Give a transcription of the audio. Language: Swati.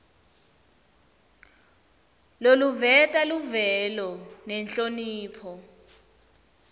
loluveta luvelo nenhlonipho